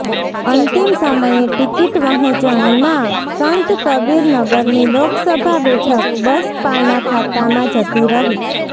અંતિમ સમયે ટિકિટ વહેંચણીમાં સંત કબીરનગરની લોકસભા બેઠક બસપાના ખાતામાં જતી રહી